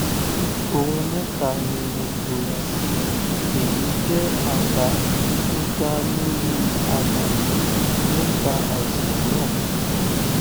ohun mẹta ni mo fura sí èyí jẹ àbá tó dá lórí àlàyé nípa àìsàn náà